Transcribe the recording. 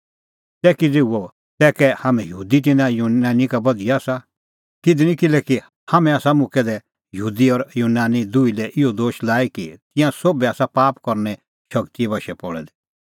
तै किज़ै हुअ तै कै हाम्हैं यहूदी तिन्नां यूनानी का बधिया आसा कधि निं किल्हैकि हाम्हैं आसा मुक्कै दै यहूदी और यूनानी दुही लै इहअ दोश लाई कि तिंयां सोभै आसा पाप करने शगतीए बशै पल़ै दै